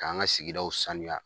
K'an ka sigiw sanuya